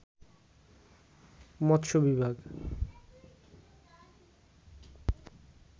মৎস্য বিভাগ